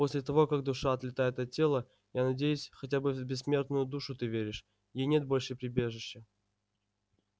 после того как душа отлетает от тела я надеюсь хотя бы в бессмертную душу ты веришь ей нет больше прибежища